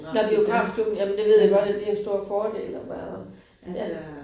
Nåh biografklubben jamen det ved jeg godt, at det en stor fordel at være ja